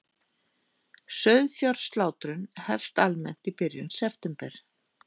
Sauðfjárslátrun hefst almennt í byrjun september